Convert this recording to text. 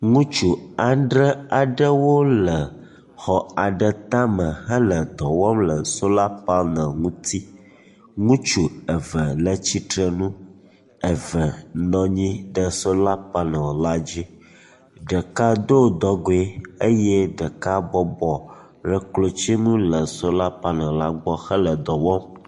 Ŋutsu adre aɖewo le xɔ aɖe tame hele dɔ wɔm le sola paneli ŋuti. Ŋutsu eve le tsitre nu, eve nɔ anyi ɖe sola paneli la dzi. Ɖeka do dɔgoe eye ɖeka bɔbɔ ɖe klotsinu le sola paneli la gbɔ hele dɔ wɔm.